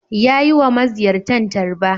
Ya yi wa maziyartan tarba.